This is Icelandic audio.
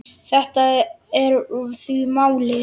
Þetta er því málið.